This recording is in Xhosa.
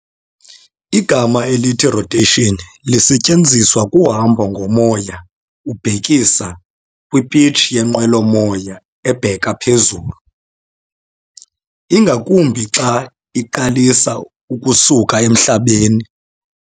igama elithi rotation liasetyenziswa kuhabo ngomoya ukubhekisa kwipitch yenqwelo-moya ebheka phezulu, ingakumbi xa iqalisa ukusuka emhlabeni.